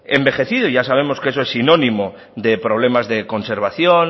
envejecido y ya sabemos que eso es sinónimo de problemas de conservación